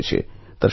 আমাকে ইমেল করে